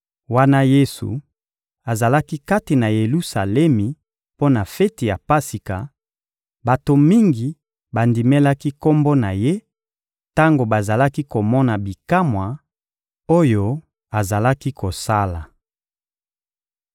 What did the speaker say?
Wana Yesu azalaki kati na Yelusalemi mpo na feti ya Pasika, bato mingi bandimelaki Kombo na Ye tango bazalaki komona bikamwa oyo azalaki kosala.